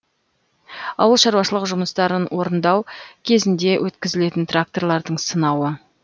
ауыл шаруашылық жұмыстарын орындау кезінде өткізілетін тракторлардың сынауы